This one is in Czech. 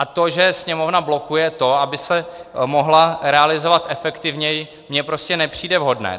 A to, že Sněmovna blokuje to, aby se mohla realizovat efektivněji, mně prostě nepřijde vhodné.